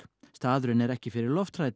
staðurinn er ekki fyrir